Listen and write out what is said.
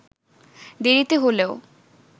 দেরিতে হলেও